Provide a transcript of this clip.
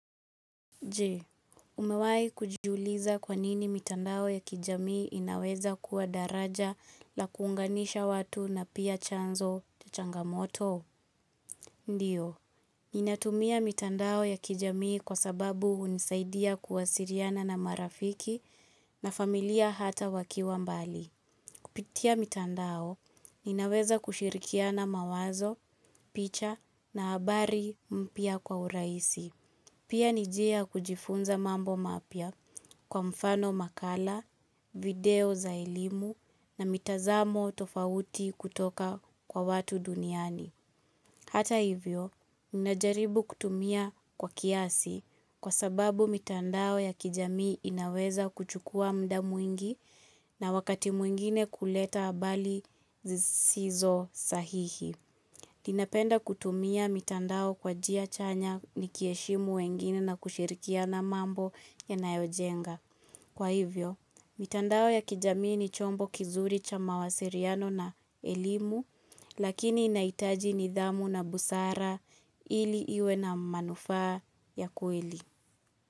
Jee, umewai kujiuliza kwanini mitandao ya kijamii inaweza kuwa daraja la kunganisha watu na pia chanzo cha changamoto? Ndiyo, ninatumia mitandao ya kijamii kwa sababu hunisaidia kuwasiriana na marafiki na familia hata wakiwa mbali. Kupitia mitandao, inaweza kushirikiana mawazo, picha na habari mpia kwa uraisi. Pia ni jia kujifunza mambo mapia kwa mfano makala, video za elimu na mitazamo tofauti kutoka kwa watu duniani. Hata hivyo, ninajaribu kutumia kwa kiasi kwa sababu mitandao ya kijamii inaweza kuchukua mda mwingi na wakati mwingine kuleta habali zizizo sahihi. Ninapenda kutumia mitandao kwa jia chanya nikieshimu wengine na kushirikiana mambo ya nayojenga. Kwa hivyo, mitandao ya kijamii ni chombo kizuri cha mawasiriano na elimu, lakini inaitaji ni dhamu na busara ili iwe na manufaa ya kueli.